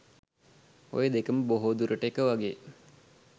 ඔය දෙකම බොහෝ දුරට එක වගේ